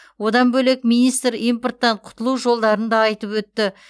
одан бөлек министр импорттан құтылу жолдарын да айтып өтті